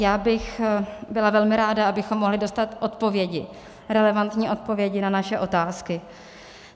Já bych byla velmi ráda, abychom mohli dostat odpovědi, relevantní odpovědi na naše otázky.